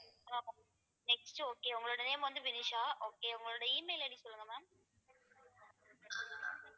next okay உங்களோட name வந்து Vinisha okay உங்களோட E mail ID சொல்லுங்க ma'am